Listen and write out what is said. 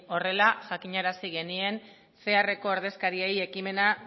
horrela jakinarazi genien ceareko ordezkariei ekimena